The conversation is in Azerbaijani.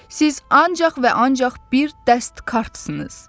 Siz ancaq və ancaq bir dəst kartsınız.